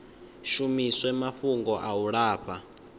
shumiswe mafhungo a u lafha